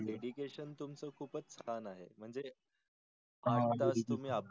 Dedication तुमच खूपच छान आहे म्हणजे तुम्ही आपले